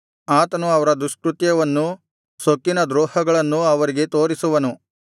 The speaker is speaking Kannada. ಆತನು ಅವರ ದುಷ್ಕೃತ್ಯವನ್ನೂ ಸೊಕ್ಕಿನ ದ್ರೋಹಗಳನ್ನೂ ಅವರಿಗೆ ತೋರಿಸುವನು